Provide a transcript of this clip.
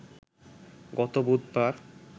গত বুধবার